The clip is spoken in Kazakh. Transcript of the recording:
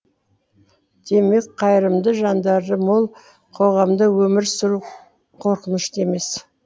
демек қайырымды жандары мол қоғамда өмір сүру қорқынышты емес